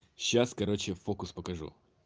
сейчас короче фокус покажу